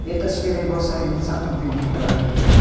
ये तस्वीर में बहुत सारे इंसान लोग भी दिख रहा है।